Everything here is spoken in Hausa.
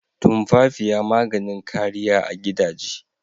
Tumfafiya maganin kariya a gidaje.